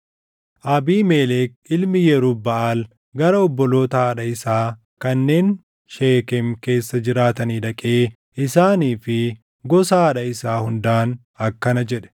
Abiimelek ilmi Yerub-Baʼaal gara obboloota haadha isaa kanneen Sheekem keessa jiraatanii dhaqee isaanii fi gosa haadha isaa hundaan akkana jedhe;